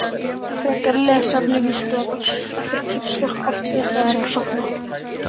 Frekara lesefni á Vísindavefnum: Af hverju kippist fólk oft við þegar það er að sofna?